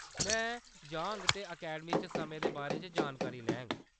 में जाङ ते अकैडमी च समें दे बारे च जानकारी लैङ।